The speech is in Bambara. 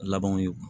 Labanw ye